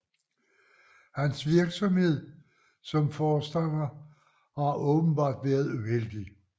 Hans virksomhed som forstander har åbenbart været uheldig